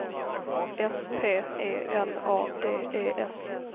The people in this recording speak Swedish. S P E L A D E S